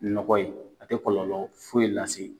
Nɔgɔ ye, a tɛ kɔlɔlɔ foyi lase